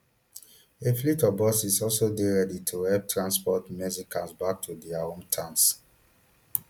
a fleet of buses also dey ready to help transport mexicans back to dia hometowns